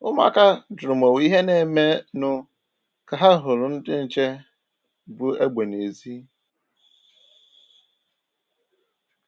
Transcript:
Ụmụ̀áka jụrụ ma onwe ìhè na-eme nụ ka ha hụrụ ndị nche bu egbe n’èzí.